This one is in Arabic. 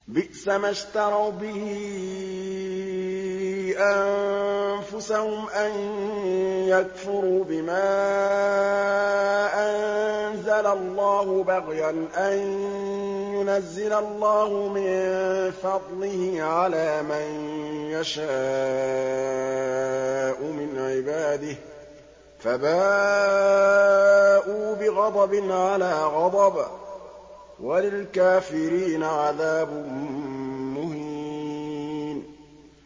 بِئْسَمَا اشْتَرَوْا بِهِ أَنفُسَهُمْ أَن يَكْفُرُوا بِمَا أَنزَلَ اللَّهُ بَغْيًا أَن يُنَزِّلَ اللَّهُ مِن فَضْلِهِ عَلَىٰ مَن يَشَاءُ مِنْ عِبَادِهِ ۖ فَبَاءُوا بِغَضَبٍ عَلَىٰ غَضَبٍ ۚ وَلِلْكَافِرِينَ عَذَابٌ مُّهِينٌ